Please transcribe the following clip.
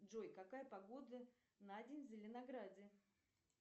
джой какая погода на день в зеленограде